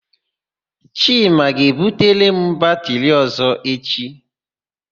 Chima ga-ebutere m batịrị ọ̀zọ́ echi.